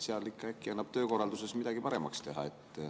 Äkki seal annab töökorralduses midagi paremaks teha.